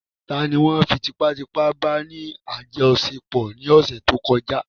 Tani won fí tipá tipá bá ní àjọṣepọ̀ ní ọ̀sẹ̀ tó kọjá?